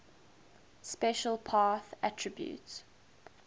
special path attribute